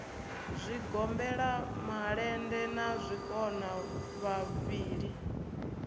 zwigombela malende na zwikona vhavhili